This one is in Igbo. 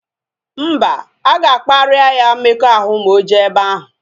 Mba, aga kparia ya mmekọahụ ma oje ebe ahu